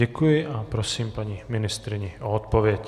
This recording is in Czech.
Děkuji a prosím paní ministryni o odpověď.